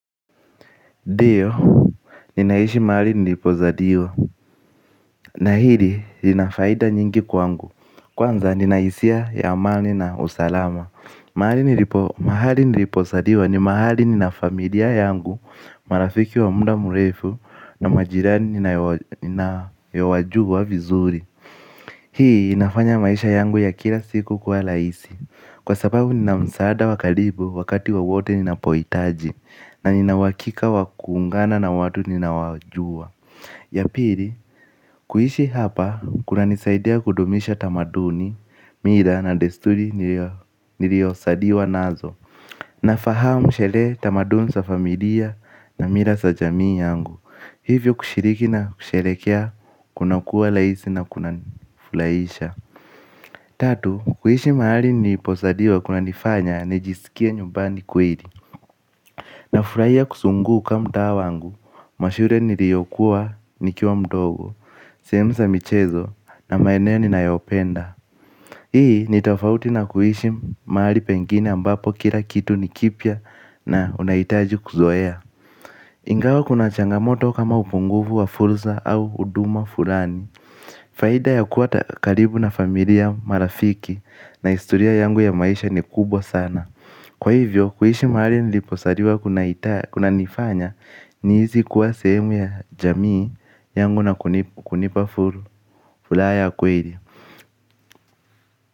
Dio, ninaishi mahali nilipo zaliwa, na hili linafaida nyingi kwangu, kwanza ninahisia ya amani na usalama. Mahali nilipo zaliwa ni mahali ninafamilia yangu, marafiki wa mda murefu na majirani nayo wajua vizuri. Hii inafanya maisha yangu ya kila siku kuwa laisi. Kwa sababu nina msaada wa kalibu wakati wa wote nina poitaji na nina uwakika wa kuungana na watu ninaowajua. Ya piri, kuishi hapa, kuna nisaidia kudumisha tamaduni, mira na desturi niriosadiwa nazo. Na fahamu shele tamaduni sa familia na mira sa jamii yangu. Hivyo kushiriki na kusherekea kuna kuwa laisi na kuna fulaisha. Tatu, kuishi maali niposaliwa kuna nifanya, nijisikie nyumbani kweri. Na furaia kusunguka mtaa wangu, mashure niliyokuwa nikiwa mdogo, seemu sa michezo, na maeneo ninayopenda. Hii, nitafauti na kuishi maali pengine ambapo kila kitu nikipya na unahitaji kuzoeya. Ingawa kuna changamoto kama upunguvu wa furza au uduma furani faida ya kuwa karibu na familia marafiki na istoria yangu ya maisha ni kubwa sana. Kwa hivyo, kuishi mahali niliposariwa kuna nifanya ni hisi kuwa sehemu ya jamii yangu na kunipa fulaa ya kweli.